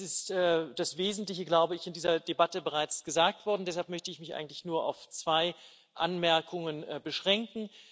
Es ist das Wesentliche, glaube ich, in dieser Debatte bereits gesagt worden, deshalb möchte ich mich eigentlich nur auf zwei Anmerkungen beschränken.